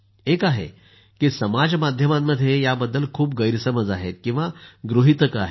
एक आहे की समाजमाध्यमांमध्ये या बद्दल खूप गैरसमज आहेत किंवा गृहितकं आहेत